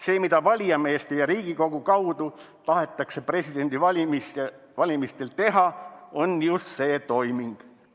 See, mida valijameeste ja Riigikogu kaudu tahetakse presidendivalimistel teha, on just see toiming.